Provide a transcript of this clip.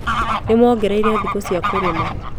Nĩmongereire thikũ cia kũrĩmĩra